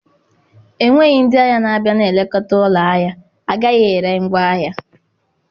Enweghị ndị ahịa na-abịa na-elekọta ụlọ ahịa, a gaghị ere ngwaahịa.